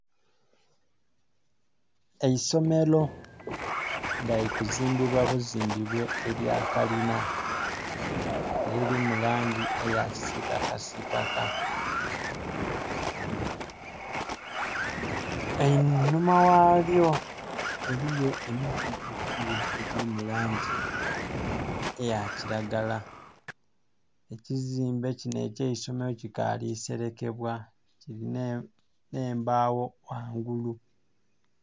Eisomero nga liri kuzimbibwa buzimbibwe elya kalina eliri mu langi eya kisitakasitaka. Einhuma ghalyo eliyo emiti egiliyo egiri mu langi eya kiragala. Ekizimbe kino eky'eisomero kikaali selekebwa kilina embaawo ghangulu.